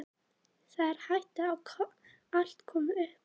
Það er hætta á að allt komi upp úr því aftur.